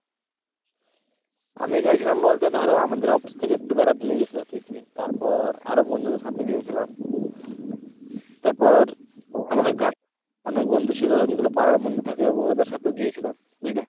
আমি গেছিলাম বলতে ধর আমাদের office থেকে একটু বেড়াতে নিয়ে গেছিল picnic তারপর আরো বন্ধুদের সাথে গিয়েছিলাম। তারপর আমাদের গ্রাম অনেক বন্ধু ছিল যেগুলো পাড়ার বন্ধু থাকে ওগুলো ওদের সাথেও গিয়েছিলাম। বুঝলে?